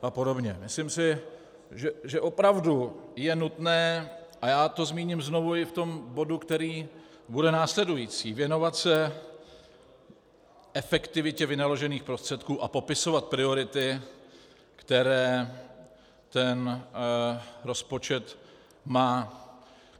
Myslím si, že opravdu je nutné, a já to zmíním znovu i v tom bodu, který bude následující, věnovat se efektivitě vynaložených prostředků a popisovat priority, které ten rozpočet má.